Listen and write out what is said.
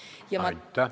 Liina Kersna, palun!